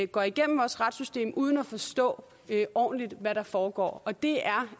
går igennem vores retssystem uden at forstå ordentligt hvad der foregår og det er